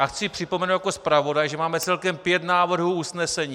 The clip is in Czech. A chci připomenout jako zpravodaj, že máme celkem pět návrhů usnesení.